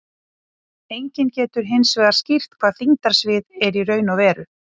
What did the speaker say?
Enginn getur hins vegar skýrt hvað þyngdarsvið er í raun og veru.